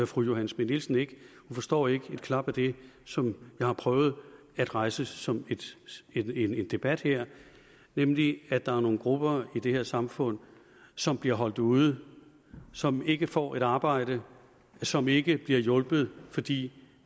fru johanne schmidt nielsen ikke hun forstår ikke et klap af det som jeg har prøvet at rejse som en debat her nemlig at der er nogle grupper i det her samfund som bliver holdt ude som ikke får et arbejde som ikke bliver hjulpet fordi